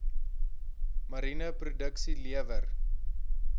mariene produksie lewer